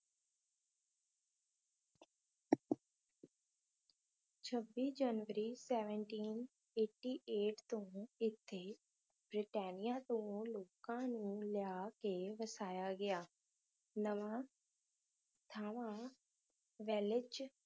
ਛੱਬੀ ਜਨਵਰੀ ਤੋਂ ਇੱਥੇ ਬਰਤਾਨੀਆ ਤੋਂ ਲੋਕਾਂ ਨੂੰ ਲਿਆ ਕੇ ਵਸਾਇਆ ਗਿਆ। ਨਵਾਂ ਥਲਵਾਂ ਵੇਲਜ਼